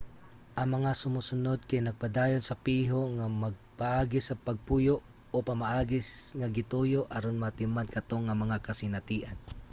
ang mga sumusunod kay nagpadayon sa piho nga mga paagi sa pagpuyo o mga pamaagi nga gituyo aron maatiman kato nga mga kasinatian